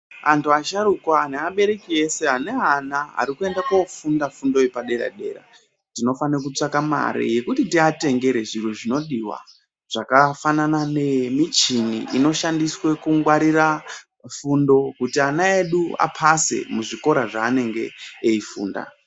Antu asharukwa neabereki ese aneana ari kuenda kofundo yepadera dera, tinofana kutsvaka mare yekuti tiatengere zvinhu zvinodiwa zvakafanana nemichini inokwanisa kungwarira fundo kuti ana edu apase muzvikora zvaanenge eifunda.